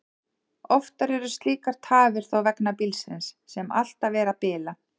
Oftar eru slíkar tafir þó vegna bílsins, sem alltaf er að bila.